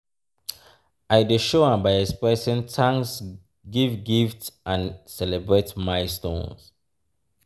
i dey show am by expressing thanks give gifts and celebrate milestones.